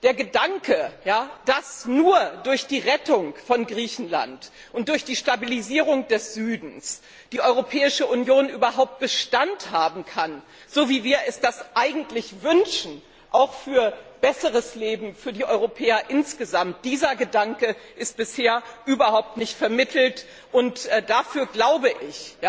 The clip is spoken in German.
Der Gedanke, dass nur durch die Rettung von Griechenland und durch die Stabilisierung des Südens die Europäische Union überhaupt Bestand haben kann so wie wir uns das eigentlich wünschen, auch für besseres Leben für die Europäer insgesamt, dieser Gedanke ist bisher überhaupt nicht vermittelt, und dafür, glaube ich,